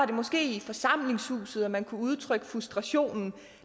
det måske i forsamlingshuset man kunne udtrykke frustrationen